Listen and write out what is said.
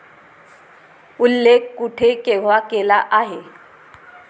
उल्लेख कुठे केव्हा केला आहे